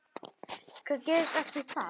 Hvað gerist eftir það?